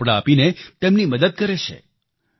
ગરમ કપડાં આપીને તેમની મદદ કરે છે